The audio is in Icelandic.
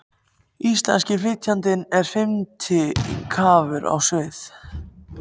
Íslenski flytjandinn er fimmti kraftur á svið.